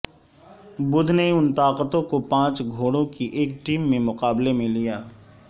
بدھ نے ان طاقتوں کو پانچ گھوڑوں کی ایک ٹیم میں مقابلے میں لیا